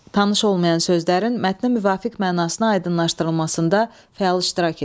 Tanış olmayan sözlərin mətnə müvafiq mənasına aydınlaşdırılmasında fəal iştirak edin.